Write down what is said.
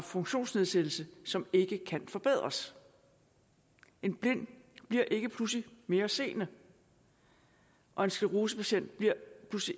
funktionsnedsættelse som ikke kan forbedres en blind bliver ikke pludselig mere seende og en sclerosepatient bliver